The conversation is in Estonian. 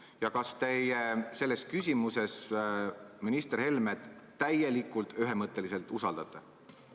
Ja kas teie selles küsimuses minister Helmet täielikult, ühemõtteliselt usaldate?